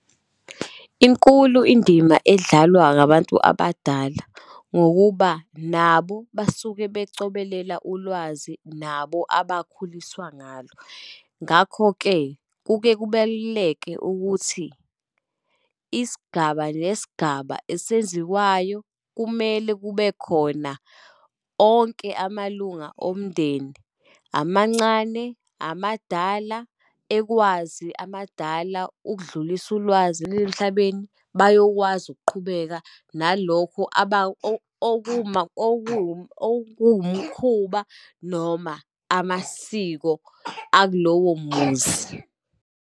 Inkulu indima edlalwa ngabantu abadala, ngokuba nabo basuke bacobelela ulwazi nabo abakhuliswa ngalo. Ngakho-ke kuke kubaluleke ukuthi isigaba nesigaba esenziwayo kumele kube khona onke amalunga omndeni, amancane, amadala, ekwazi amadala ukudlulisa ulwazi lwemhlabeni. Bayokwazi ukuqhubeka nalokho okuwumkhuba, noma amasiko akulowo muzi.